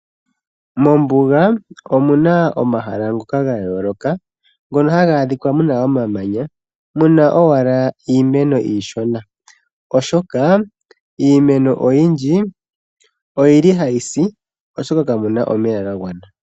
Mombuga omuna omahala ngoka ga yooloka ngono haga adhika muna omamanya muna owala iimeno iishona oshoka iimeno oyindji oyili ha yisi oshoka ka muna omeya ga gwana.